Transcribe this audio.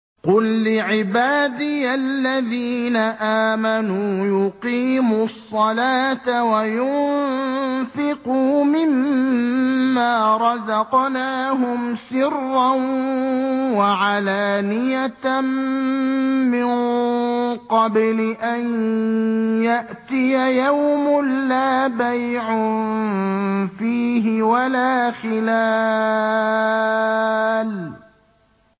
قُل لِّعِبَادِيَ الَّذِينَ آمَنُوا يُقِيمُوا الصَّلَاةَ وَيُنفِقُوا مِمَّا رَزَقْنَاهُمْ سِرًّا وَعَلَانِيَةً مِّن قَبْلِ أَن يَأْتِيَ يَوْمٌ لَّا بَيْعٌ فِيهِ وَلَا خِلَالٌ